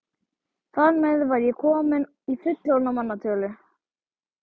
Þar með var ég komin í fullorðinna manna tölu.